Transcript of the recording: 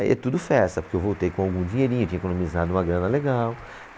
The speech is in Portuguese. Aí é tudo festa, porque eu voltei com algum dinheirinho, tinha economizado uma grana legal.